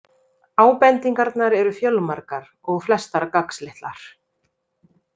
Ábendingarnar eru fjölmargar og flestar gagnslitlar.